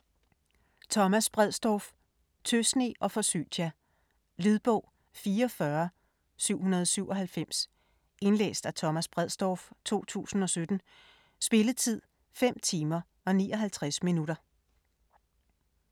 Bredsdorff, Thomas: Tøsne og forsytia Lydbog 44797 Indlæst af Thomas Bredsdorff, 2017. Spilletid: 5 timer, 59 minutter.